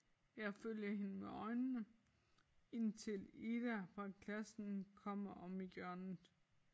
Jeg følger hende med øjnene indtil Ida fra klassen kommer om hjørnet